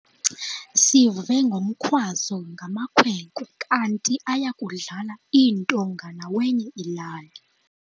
Sive ngomkhwazo ngamakhwenkwe kanti aya kudlala iintonga nawenye ilali.